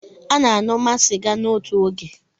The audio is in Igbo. A na-aṅụma sịga n'otu oge.